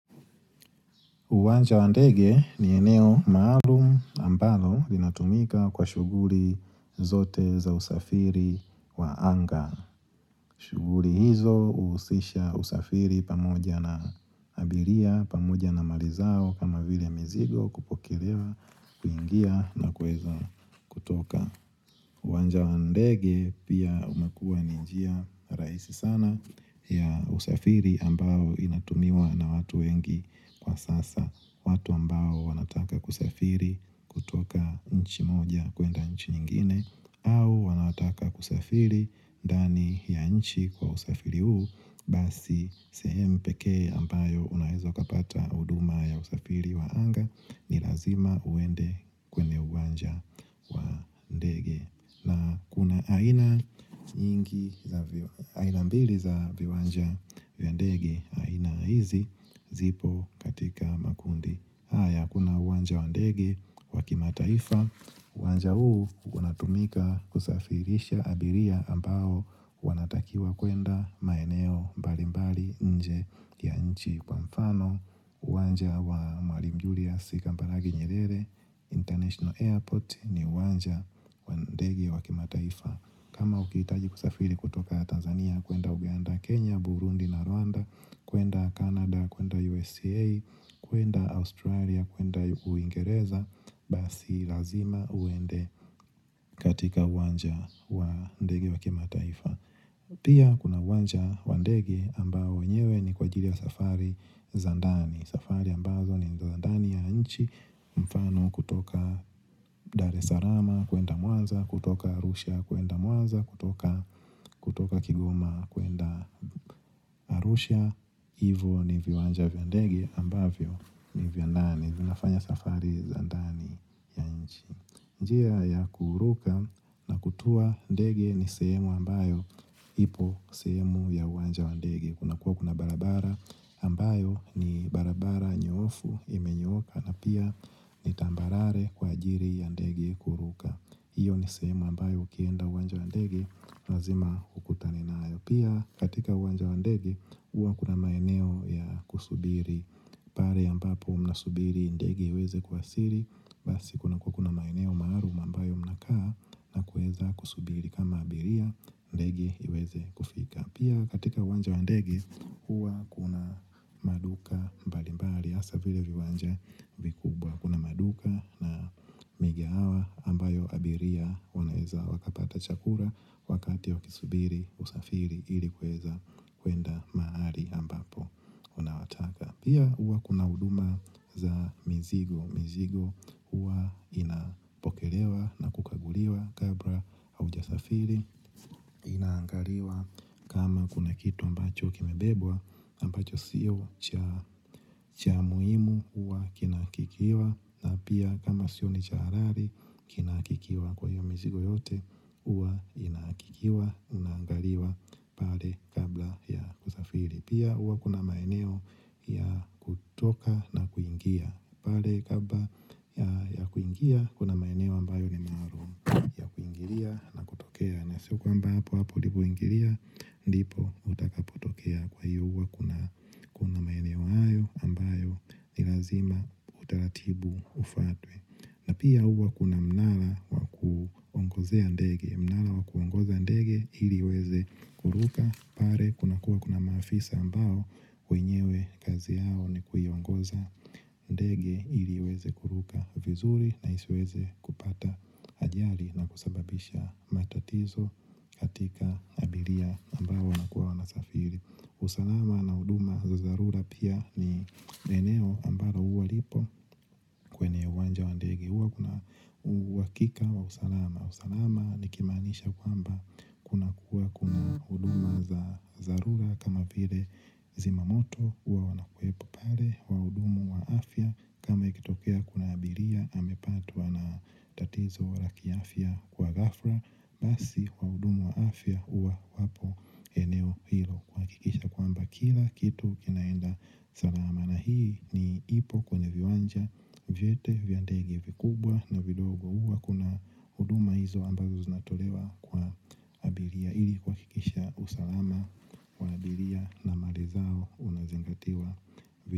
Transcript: Uwanja wa ndege ni eneo maalum ambalo linatumika kwa shughuli zote za usafiri wa anga. Shughuli hizo huusisha usafiri pamoja na abiria, pamoja na mali zao kama vile mizigo kupokelewa, kuingia na kuweza kutoka. Uwanja wa ndege pia umekua ni njia rahisi sana ya usafiri ambayo inatumiwa na watu wengi kwasasa. Watu ambao wanataka kusafiri kutoka nchi moja kwenda nchi nyingine au wanataka kusafiri ndani ya nchi kwa usafiri huu Basi sehemu pekee ambayo unaweza kupata huduma ya usafiri wa anga ni lazima uende kwenye uwanja wa ndege na kuna aina mbili za viwanja vya ndege. Aina hizi zipo katika makundi. Haya kuna uwanja wa ndege wa kimataifa uwanja huu unatumika kusafirisha abiria ambao wanatakiwa kwenda maeneo mbalimbali nje ya nchi kwamfano uwanja wa Mwalimu Julius Kambarage Nyerere International Airport ni uwanja wa ndege wa kimataifa. Kama ukihitaji kusafiri kutoka Tanzania, kwenda Uganda, Kenya, Burundi na Rwanda kwenda Canada, kwenda USA, kwenda Australia, kwenda Uingereza Basi lazima uende katika uwanja wa ndege wa kimataifa. Pia kuna uwanja wa ndege ambao wenyewe ni kwaajili ya safari za ndani. Safari ambazo ni za ndani ya nchi mfano kutoka Dar es salaam kwenda Mwanza, kutoka Arusha kwenda Mwanza, kutoka Kigoma kwenda Arusha, hivo ni viwanja vya ndege ambavyo ni vya ndani. Njia ya kuruka na kutua ndege ni sehemu ambayo ipo sehemu ya uwanja wa ndege. Kunakuwa kuna barabara ambayo ni barabara nyoofu imenyoka na pia ni tambarare kwaajili ya ndege kuruka hiyo ni sehemu ambayo ukienda uwanja wa ndege lazima ukutane nayo. Pia katika uwanja wa ndege huwa kuna maeneo ya kusubiri pale ambapo mnasubiri ndege iweze kuwasili basi kunakuwa kuna maeneo maalum ambayo mnakaa na kuweza kusubiri kama abiria, ndege iweze kufika. Pia katika uwanja wa ndege, huwa kuna maduka mbalimbali, hasa vile viwanja vikubwa. Kuna maduka na migahawa ambayo abiria wanaweza wakapata chakula wakati wakisubiri usafiri ili kuweza kwenda mahali ambapo unawataka. Pia huwa kuna huduma za mizigo. Mizigo huwa inapokelewa na kukaguliwa kabla haujasafiri inaangaliwa kama kuna kitu ambacho kimebebwa ambacho siyo cha muhimu huwa kinahakikiwa na pia kama sio cha halali kinahakikiwa kwahiyo mizigo yote huwa inahakikiwa, inaangaliwa pale kabla ya kusafiri. Pia huwa kuna maeneo ya kutoka na kuingia pale kabla ya kuingia kuna maeneo ambayo ni maalum ya kuingilia na kutokea na siyo kwamba hapo hapo ulipoingilia ndipo utakapotokea, kwahiyo huwa kuna maeneo hayo ambayo ni lazima utaratibu ufatwe na pia huwa kuna mnara wa kuongozea ndege. Mnara wa kuongoza ndege ili iweze kuruka. Pale kunakuwa kuna maafisa ambao wenyewe kazi yao ni kuiongoza ndege ili iweze kuruka vizuri na isiweze kupata ajali na kusababisha matatizo katika abiria ambao wanakuwa wanasafiri. Usalama na huduma za dharura pia ni eneo ambalo huwa lipo kwenye uwanja wa ndege. Huwa kuna uhakika wa usalama. Usalama nikimaanisha kwamba kunakuwa kuna huduma za dharura kama vile zimamoto huwa wanakuepo pale, wahudumu wa afya kama ikitokea kuna abiria amepatwa na tatizo la kiafya kwa ghafla, basi wahudumu wa afya huwa wapo eneo hilo kuhakikisha kwamba kila kitu kinaenda salama. Na hii ni ipo kwenye viwanja vyote vya ndege vikubwa na vidogo huwa kuna huduma hizo ambazo zinatolewa kwa abiria ili kuhakikisha usalama wa abiria na mali zao unazingatiwa.